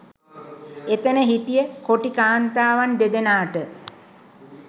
එතන හිටිය කොටි කාන්තාවන් දෙදෙනාට